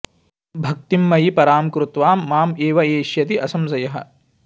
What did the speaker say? भक्तिम् मयि पराम् कृत्वा माम् एव एष्यति असंशयः